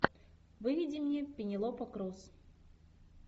выведи мне пенелопа крус